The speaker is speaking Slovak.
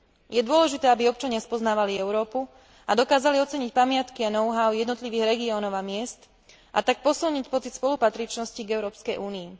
Je dôležité, aby občania spoznávali Európu a dokázali oceniť pamiatky a know how jednotlivých regiónov a miest, a tak sa posilnil pocit spolupatričnosti k Európskej únii.